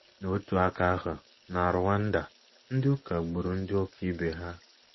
N’otu aka ahụ, na Rwanda, ndị ụka gburu ndị ụka ibe ha.